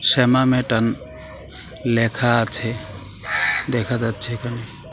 শ্যামা মেটান লেখা আছে দেখা যাচ্ছে এখানে.